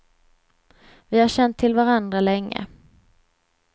Vi har känt till varandra länge.